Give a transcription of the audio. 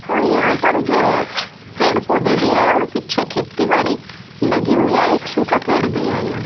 और यहां पर जो है पेड़ पौधे भी है और पीछे खेती बाड़ी लगी हुई है एक सूखा पेड़ भी है यहां।